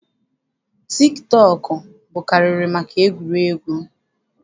Tik tọọkụ bụkarịrị maka egwuregwu.